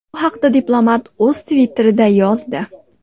Bu haqda diplomat o‘z Twitter’ida yozdi.